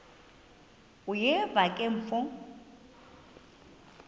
uyeva ke mfo